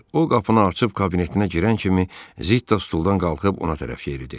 O qapını açıb kabinetinə girən kimi Zitta stuldan qalxıb ona tərəf yeridi.